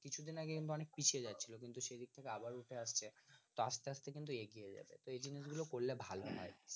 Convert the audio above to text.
কিছু দিন আগে এটা অনেক পিছিয়ে যাচ্ছিলো কিন্তু সেদিক থেকে আবার উঠে আসছে তো আস্তে আস্তে কিন্তু এগিয়ে যাবে তো এই জিনিস গুলো করলে ভালো হয়